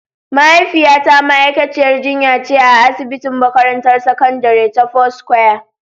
Mahaifiyata ma'aikaciyar jinya ce a asibitin makarantar sakandare ta foursquare.